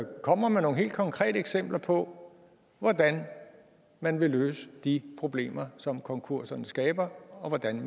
kommer med nogle helt konkrete eksempler på hvordan man vil løse de problemer som konkurserne skaber og hvordan